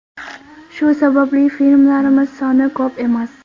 Shu sababli filmlarimiz soni ko‘p emas.